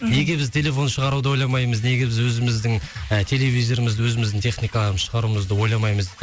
неге біз телефон шығаруды ойламаймыз неге біз өзіміздің ы телевизорымызды өзіміздің техникаларымызды шығаруымызды ойламаймыз